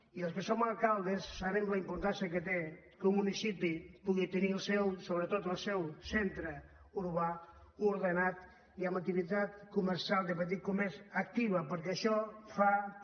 i els que som alcaldes sabem la importància que té que un municipi pugui tenir sobretot el seu centre urbà ordenat i amb activitat comercial de petit comerç actiu perquè això fa també